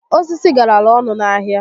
Osisi garalụ ọnụ n'ahịa